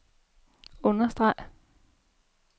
understreg